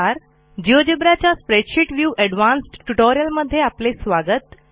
GeoGebra च्या spreadsheet view advanced ट्युटोरियलमध्ये आपले स्वागत